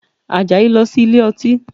Àjàyí lọ sí ilé ọtí